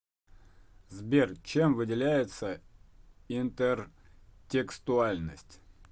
сбер чем выделяется интертекстуальность